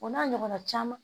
O n'a ɲɔgɔnna caman